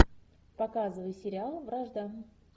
показывай сериал вражда